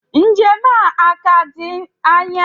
Njem a a-ka di anya?